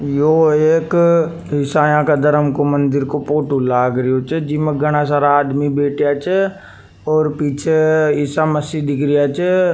यों एक इशाया का धर्म को मंदिर को फोटो लाग रही छ जी में गाना सारा आदमी बैठे छ और पीछे ईसा मसीह दिख रिया छ।